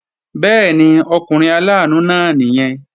Bẹ́ẹ̀ni, ọkùnrin aláàánú náà nìyẹn